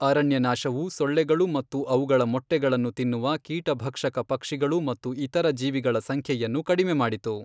ಅರಣ್ಯನಾಶವು ಸೊಳ್ಳೆಗಳು ಮತ್ತು ಅವುಗಳ ಮೊಟ್ಟೆಗಳನ್ನು ತಿನ್ನುವ ಕೀಟಭಕ್ಷಕ ಪಕ್ಷಿಗಳು ಮತ್ತು ಇತರ ಜೀವಿಗಳ ಸಂಖ್ಯೆಯನ್ನು ಕಡಿಮೆ ಮಾಡಿತು.